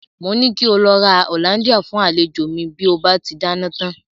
Mo ní kí ó lọ ra hollandia fún àlejò mi bí ó bá ti dáná tán.